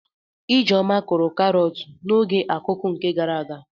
Ijeoma kụrụ karọt na oge akuku nke gara aga.